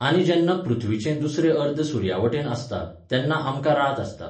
आनी जेन्ना पृथ्वीचें दुसरें अर्द सुर्यावटेन आसता, तेन्ना आमकां रात आसता.